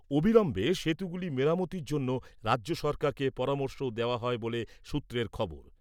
অবিলম্বে সেতুগুলি মেরামতির জন্য রাজ্য সরকারকে পরামর্শও দেওয়া হয় বলে সূত্রের খবর।